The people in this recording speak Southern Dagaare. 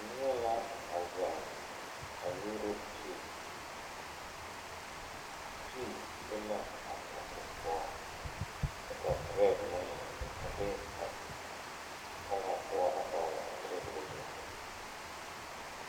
Nieɛ la a zeŋ a nyuuro tee tee be la a kapu poɔ kyɛ ka brɛɛd meŋ a be a talaa poɔ a dɔgle a tabol zu.